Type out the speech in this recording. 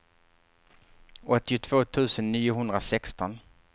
åttiotvå tusen niohundrasexton